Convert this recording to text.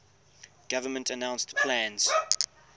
government announced plans